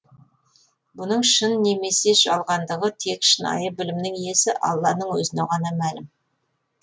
бұның шын немесе жалғандығы тек шынайы білімнің иесі алланың өзіне ғана мәлім